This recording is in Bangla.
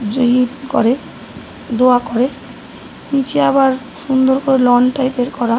জাহিদ করে দোয়া করে। নিচে আবার সুন্দর করে লন টাইপ -এর করা।